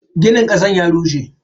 Ginin kasan ya rushe.